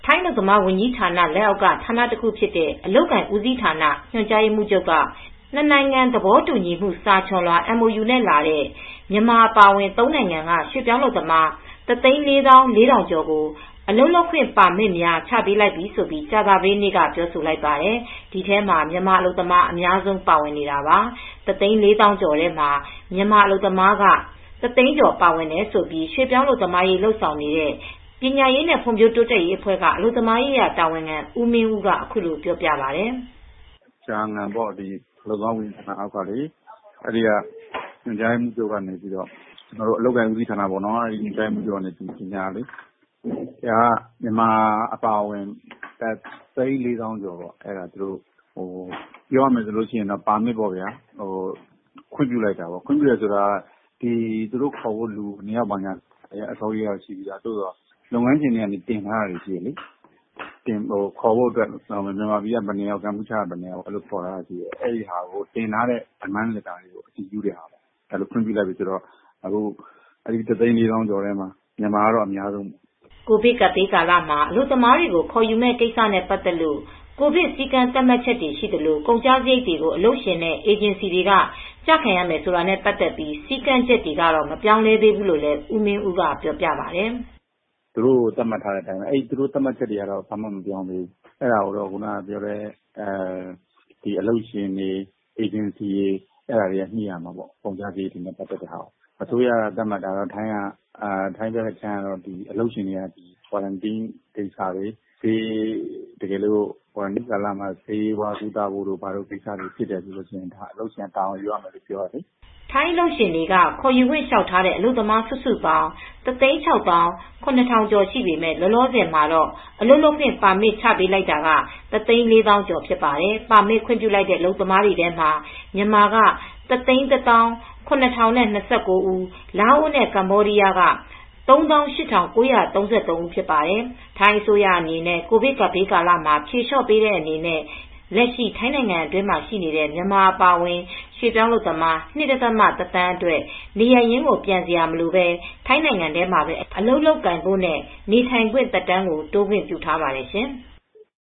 ထိုင်း အလုပ်သမားဝန်ကြီးဌာန လက်အောက်က ဌာနတခုဖြစ်တဲ့ အလုပ်အကိုင်ဦးစီးဌာန ညွန်ကြားရေးမှူးချုပ် က နှစ်နိုင်ငံသဘောတူညီမူ စာချွန်လွှာ(MOU) နဲ့လာတဲ့ မြန်မာအပါအဝင် ၃နိုင်ငံက ရွှေ့ပြောင်းအလုပ်သမား တသိန်းလေးသောင်းလေးထောင်ကျော် ကို အလုပ်လုပ်ခွင့်ပါမစ်များချပေးလိုက်ပြီလို့ ကြာသပတေးနေ့ကပြောဆိုလိုက်ပါတယ်။ ဒီထဲမှာမြန်မာအလုပ်သမား အများဆုံးပါဝင်တာပါ။ တသိန်းလေးသောင်းကျော်ထဲမှာ မြန်မာအလုပ်သမားက တသိန်းကျော်ပါဝင်တယ်လို့ ရွှေ့ပြောင်းအလုပ်သမားရေး ဆောင်ရွက်နေတဲ့ ပညာရေးနဲ့ ဖွံဖြိုးတိုးတက်ရေးအဖွဲ့ ကအလုပ်သမားရေးရာ တာဝန်ခံဦးမင်းဦး က အခုလိုပြောပါတယ် ။ "ကျဟမ်ငမ် လို့ ခေါ်တဲ့ အလုပ်သမားဝန်ကြီးဌာနအောက်ကနေ အလုပ်အကိုင် ဦးစီးဌာနက ညွန်ကြားရေးမှူးချုပ်ကပေါ့ မြန်မာအပါအဝင် တသိန်းလေးသောင်းကျော် ပါမစ်ခွင့်ပြုလိုက်တာပေါ့၊ ပြောရမယ်ဆိုရင် ပါမစ်ခွင့်ပြုတယ်ဆိုတာသူတို့ခေါ်ဖို့အတွက် ဘယ်နှစ်ယောက်ဆိုတာကတော့ စာရင်းကရှိပြီးသား လုပ်ငန်းရှင်တွေကခေါ်ဖို့တင်ထားတာရှိတယ်။ မြန်မာကဘယ်နှစ်ယောက်၊ ကမ္ဘောဒီယားက ဘယ်နှစ်ယောက်ဆိုတာ ရှိတယ်။ တင်ထားတဲ့ Demand letterတွေကို ခွင့်ပြုလိုက်တာ။ ခွင့်ပြုလိုက်ပြီဆိုတော့ မြန်မာကတော့ အများဆုံးပေါ့။ တသိန်းလေးသောင်းကျော်ထဲမှာ မြန်မာက တော့အများဆုံးပါ" ကိုဗစ်ကပ်ဘေးကာလမှာ အလုပ်သမားတွေကို ခေါ်ယူမယ့်ကိစ္စနဲ့ ပတ်သက်လို့ ကိုဗစ်စည်းကမ်းသတ်မှတ်ချက်တွေရှိသလို ကုန်ကျစရိပ်တွေကို အလုပ်ရှင်တွေ အေဂျင်စီတွေက ကျခံရမယ်ဆိုတာနဲ့ ပတ်သက်တဲ့ စည်းကမ်းချက်တွေ ကတော့ မပြောင်းလဲသေးဘူးလို့လည်း ဦးမင်းဦး က ပြောပါတယ် ။ " သူတိုကို သတ်မှတ်ချက်တွေကတော့ ဘာမှမပြောင်းသေးဘူး ။ အလုပ်ရှင်တွေ အေဂျင်စီတွေကပေးရမှာပေါ့၊ ကုန်ကျစရိပ်နဲ့ ပတ်သက်တာတွေကိုပါ ထိုင်းအစိုးရက သတ်မှတ်တာကတော့ ကွာရမ်းတင်းကာလမှာ ဆေးဝါးကုသဖို့ဖြစ်လာမယ်ဆိုရင် အလုပ်ရှင်ကတာဝန်ယူရမယ်လိုပြောတယ်လေ" ထိုင်းအလုပ်ရှင်တွေက ခေါ်ယူခွင့် လျောက်ထားတဲ့ အလုပ်သမားစုစုပေါင်း ၁၆၇၀၀၀ကျော်ရှိပေမယ့် လောလောဆည်မှာတော့ အလုပ်လုပ်ခွင့်ပါမစ်ချပေးလိုက်တာကတော့ ၁၄၀၀၀၀ ကျော်ဖြစ်ပါတယ်။ ပါမစ်ခွင့်ပြုလိုက်တဲ့အလုပ်သမားများထဲမှာ မြန်မာက ၁၁၇,၀၂၉ ဦး၊ လာအိုနဲ့ကမ္ဘောဒီးယားက ၃၈,၉၃၃ ဦးဖြစ်ပါတယ်။ ထိုင်းအစိုးရအနေနဲ့ ကိုဗစ်ကပ်ဘေးကာလမှာ ဖြေလျော့ပေးတဲ့အနေနဲ့ လက်ရှိထိုင်းနိုင်ငံတွင်းမှာရှိနေတဲ့မြန်မာအပါအဝင် ရွှေ့ပြောင်း အလုပ်သမား ၂.၁ သန်းအတွက် နေရပ်ရင်းကို ပြန်စရာမလိုပဲ ထိုင်းနိုင်ငံထဲမှာ အလုပ်လုပ်ကိုင်ဖို့နဲ့ နေထိုင်ခွင့်သက်တမ်း တိုးခွင့်ပြုထားပါတယ်ရှင်။